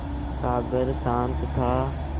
सागर शांत था